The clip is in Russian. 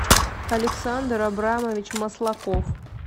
александр абрамович маслаков